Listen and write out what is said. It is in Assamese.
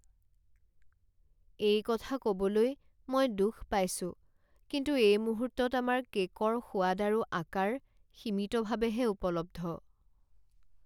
এই কথা ক'বলৈ মই দুখ পাইছোঁ, কিন্তু এই মুহূৰ্তত আমাৰ কে'কৰ সোৱাদ আৰু আকাৰ সীমিতভাৱেহে উপলব্ধ।